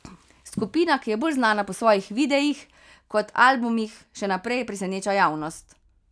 Skupina, ki je bolj znana po svojih videih kot albumih, še naprej preseneča javnost.